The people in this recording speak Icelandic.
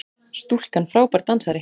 Stúlkan frábær dansari!